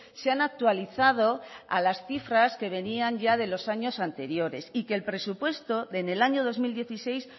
se han actualizado a las cifras que venían ya de los años anteriores y que el presupuesto en el año dos mil dieciséis